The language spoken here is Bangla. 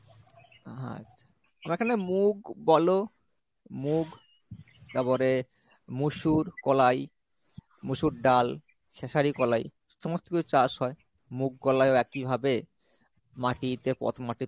আচ্ছা আমরা এখানে মুগ বলো মুগ তারপরে মুশুর কলাই মুশুর ডাল খেসারি কলাই সমস্ত কিছু চাষ হয় মুগ কোলাই ও একই ভাবে মাটিতে